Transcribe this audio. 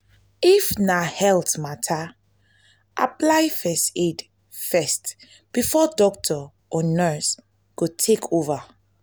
if na health matter apply first aid first before doctor or nurse go take over